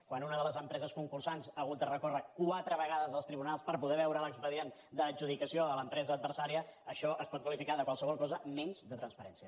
quan una de les empreses concursants ha hagut de recórrer quatre vegades als tribunals per poder veure l’expedient d’adjudicació a l’empresa adversària això es pot qualificar de qualsevol cosa menys de transparència